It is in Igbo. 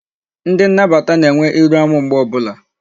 Ndi nnabata na-enwe iru amu mgbe obula